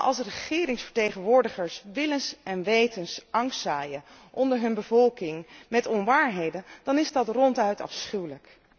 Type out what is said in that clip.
Maar als regeringsvertegenwoordigers willens en wetens angst zaaien onder hun bevolking met onwaarheden, dan is dat ronduit afschuwelijk.